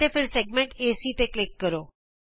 ਅਤੇ ਫਿਰ ਵ੍ਰਤ ਖੰਡ ਏਸੀ ਤੇ ਕਲਿਕ ਕਰੋ